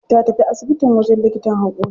Ta tafi asibitin wajen likitan haƙori.